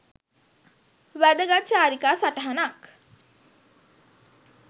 වැදගත් චාරිකා සටහනක්